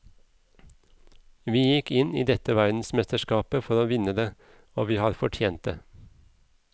Vi gikk inn i dette verdensmesterskapet for å vinne det, og vi har fortjent det.